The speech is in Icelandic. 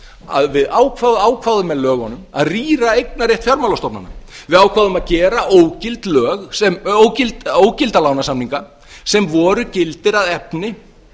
að við ákváðum með lögunum að rýra eignarrétt fjármálastofnana við ákváðum að gera ógilda lánasamninga sem voru gildir að efni